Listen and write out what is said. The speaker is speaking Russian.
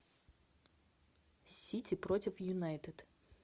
сити против юнайтед